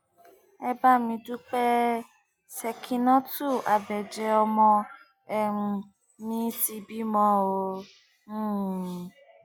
ẹ bá mi dúpẹ ṣèkínàtù àbẹjẹ ọmọ um mi ti bímọ o um